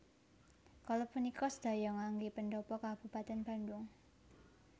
Kala punika sedaya nganggé pendhapa kabupatèn Bandhung